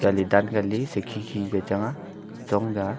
jalI dan kalI sa khe khe ke chang a chong ka a.